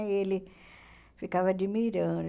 E ele ficava admirando.